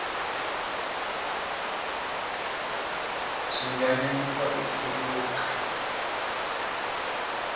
swi nga nyanyisa ku chuluka